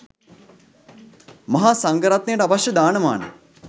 මහා සංඝරත්නයට අවශ්‍ය දාන මාන